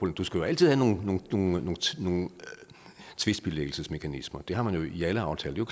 du skal altid have nogle tvistbilæggelsesmekanismer det har man i alle aftaler